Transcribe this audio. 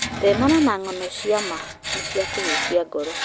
Thenema cia ng'ano cia ma nĩ cia kũhutia muoyo.